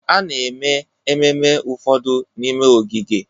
A na-eme ememme ụfọdụ n'ime ogige